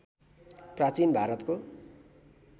प्राचीन भारतको